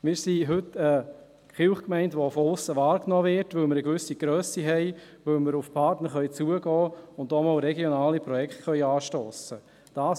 Wir sind heute eine Kirchgemeinde, die von aussen wahrgenommen wird, weil wir eine gewisse Grösse haben, weil wir auf Partner zugehen und auch regionale Projekte anstossen können.